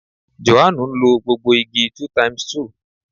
Jòhánù ń lo gbogbo igi 2 x 2